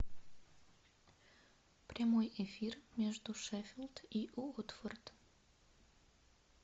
прямой эфир между шеффилд и уотфорд